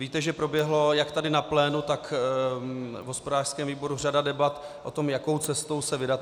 Víte, že proběhla jak tady na plénu, tak v hospodářském výboru řada debat o tom, jakou cestou se vydat.